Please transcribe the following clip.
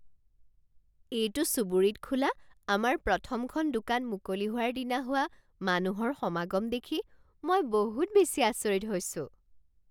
এইটো চুবুৰীত খোলা আমাৰ প্ৰথমখন দোকান মুকলি হোৱাৰ দিনা হোৱা মানুহৰ সমাগম দেখি মই বহুত বেছি আচৰিত হৈছোঁ।